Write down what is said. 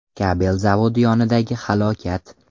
Kabel zavodi yonidagi halokat.